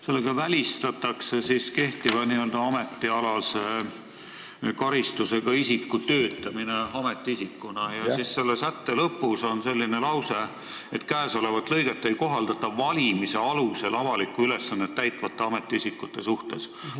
Sellega välistatakse see, et kehtiva n-ö ametialase karistusega isik töötab ametiisikuna ja selle sätte lõpus on lause: "Käesolevat lõiget ei kohaldata valimise alusel avalikku ülesannet täitvate ametiisikute suhtes.